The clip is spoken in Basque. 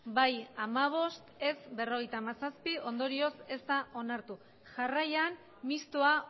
bai hamabost ez berrogeita hamazazpi ondorioz ez da onartu jarraian mistoa